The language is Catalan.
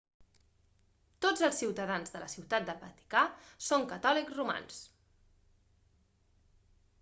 tots els ciutadans de la ciutat del vaticà són catòlics romans